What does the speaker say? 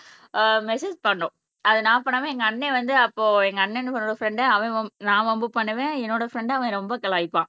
ஆஹ் message பண்ணினோம் அத நான் பண்ணாம என்னோட அண்ணன் வந்து அப்போ எங்க அண்ணனோட ஃப்ரண்ட அவன் வம் நான் வம்பு பண்ணுவேன் என்னோட ஃப்ரண்ட அவன் ரொம்ப கலாய்ப்பான்